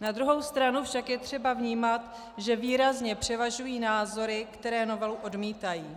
na druhou stranu však je třeba vnímat, že výrazně převažují názory, které novelu odmítají.